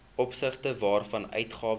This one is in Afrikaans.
opsigte waarvan uitgawes